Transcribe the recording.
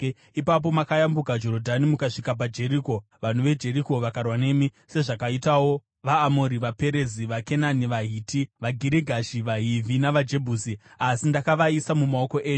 “ ‘Ipapo makayambuka Jorodhani, mukasvika paJeriko. Vanhu veJeriko vakarwa nemi, sezvakaitawo vaAmori, vaPerizi, vaKenani, vaHiti, vaGirigashi, vaHivhi navaJebhusi, asi ndakavaisa mumaoko enyu.